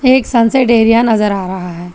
ये एक sunset area नजर आ रहा है।